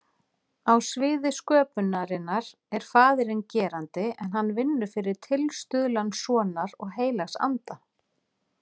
Á sviði sköpunarinnar er faðirinn gerandi en hann vinnur fyrir tilstuðlan sonar og heilags anda.